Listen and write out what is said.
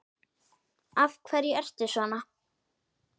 Af hverju ertu svona?